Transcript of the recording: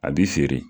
A b'i feere